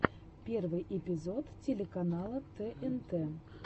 первый эпизод телеканала тнт